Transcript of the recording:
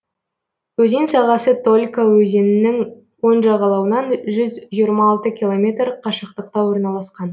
өзен сағасы толька өзенінің оң жағалауынан жүз жиырма алты километр қашықтықта орналасқан